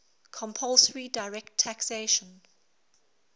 compulsory direct taxation